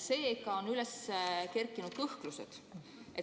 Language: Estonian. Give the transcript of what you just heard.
Seega on üles kerkinud kõhklused.